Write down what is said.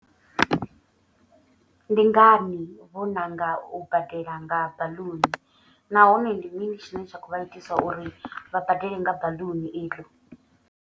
Ndi ngani vho ṋanga u badela nga baḽuni. Nahone ndi mini tshine tsha kho vha itisa uri vha badele nga baḽuni iḽo.